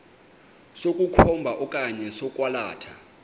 sokukhomba okanye sokwalatha